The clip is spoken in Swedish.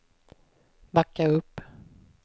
backa upp